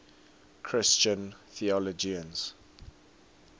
christian theologians